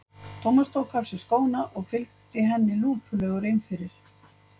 Thomas tók af sér skóna og fylgdi henni lúpulegur inn fyrir.